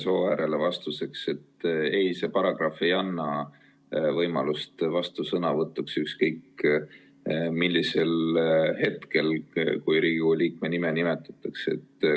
Imre Sooäärele vastuseks, et ei, see paragrahv ei anna võimalust vastusõnavõtuks ükskõik millisel hetkel, kui Riigikogu liikme nime on nimetatud.